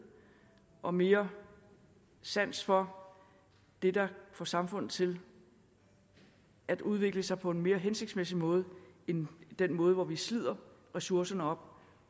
og mere sans for det der får samfundet til at udvikle sig på en mere hensigtsmæssig måde end den måde hvor vi slider ressourcerne op